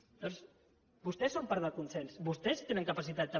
llavors vostès són part del consens vostès tenen capacitat també